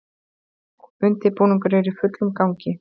Undirbúningur er í fullum gangi